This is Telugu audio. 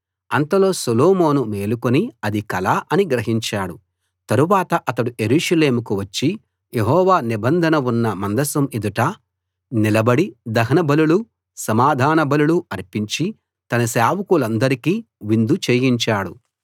అంతలో సొలొమోను మేలుకుని అది కల అని గ్రహించాడు తరవాత అతడు యెరూషలేముకు వచ్చి యెహోవా నిబంధన ఉన్న మందసం ఎదుట నిలబడి దహనబలులూ సమాధానబలులూ అర్పించి తన సేవకులందరికి విందు చేయించాడు